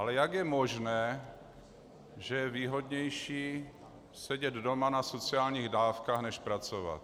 Ale jak je možné, že je výhodnější sedět doma na sociálních dávkách než pracovat?